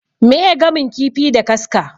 Meye gamin kifi da kaska?